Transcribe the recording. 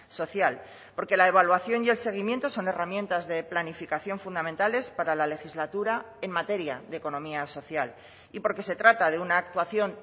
social porque la evaluación y el seguimiento son herramientas de planificación fundamentales para la legislatura en materia de economía social y porque se trata de una actuación